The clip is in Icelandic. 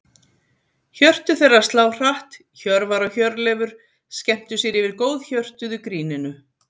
Hjörtu þeirra slá hratt, Hjörvar og Hjörleifur skemmtu sér yfir góðhjörtuðu gríninu.